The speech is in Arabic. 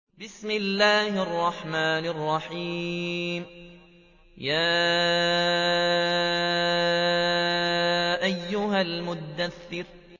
يَا أَيُّهَا الْمُدَّثِّرُ